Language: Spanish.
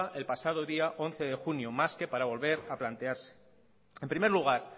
el pasado día once de junio más que para volver a plantearse en primer lugar